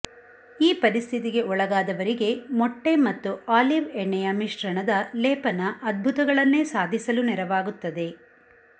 ಈ ಪರಿಸ್ಥಿತಿಗೆ ಒಳಗಾದವರಿಗೆ ಮೊಟ್ಟೆ ಮತ್ತು ಆಲಿವ್ ಎಣ್ಣೆಯ ಮಿಶ್ರಣದ ಲೇಪನ ಅಧ್ಬುತಗಳನ್ನೇ ಸಾಧಿಸಲು ನೆರವಾಗುತ್ತದೆ